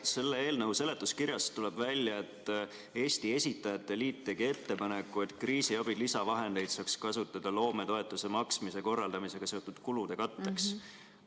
Selle eelnõu seletuskirjast tuleb välja, et Eesti Esitajate Liit tegi ettepaneku, et kriisiabi lisavahendeid saaks kasutada loometoetuse maksmise korraldamisega seotud kulude katteks.